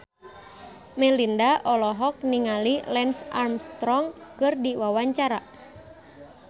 Melinda olohok ningali Lance Armstrong keur diwawancara